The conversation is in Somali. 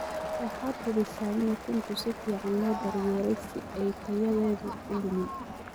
Waxaad hubisa in ukunta si fiican loo daryeelay si aay tayadoodu u lumin.